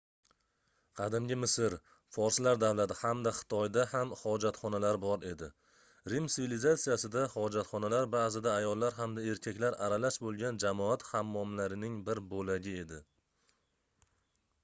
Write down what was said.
qadimgi misr forslar davlati hamda xitoyda ham hojatxonalar bor edi rim sivilizatsiyasida hojatxonalar baʼzida ayollar hamda erkaklar aralash boʻlgan jamoat hammomlarining bir boʻlagi edi